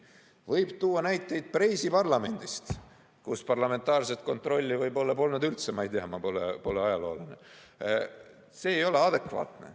Võib tuua näiteid Preisi parlamendist, kus parlamentaarset kontrolli võib-olla polnud üldse – ma ei tea, kas oli nii, ma pole ajaloolane –, aga see ei ole adekvaatne.